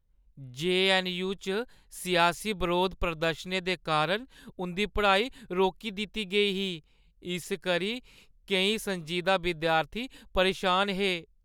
JNU. च सियासी बरोध प्रदर्शनें दे कारण उंʼदी पढ़ाई रोकी दित्ती गेई ही, इस करी केईं संजीदा विद्यार्थी परेशान हे।